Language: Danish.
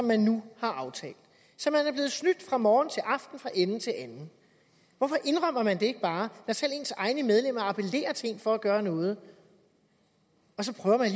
man nu har aftalt så man er blevet snydt fra morgen til aften fra ende til anden hvorfor indrømmer man det ikke bare når selv ens egne medlemmer appellerer til en for at gøre noget og så prøver man